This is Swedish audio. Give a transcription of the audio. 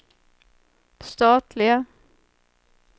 statliga